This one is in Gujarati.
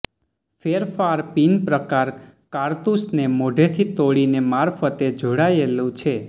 ફેરફાર પિન પ્રકાર કારતુસને મોઢેથી તોડીને મારફતે જોડાયેલું છે